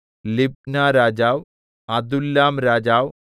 ലിബ്നരാജാവ് അദുല്ലാംരാജാവ്